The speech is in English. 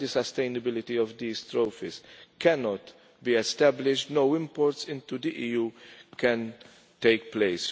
When the sustainability of these trophies cannot be established, no imports into the EU can take place.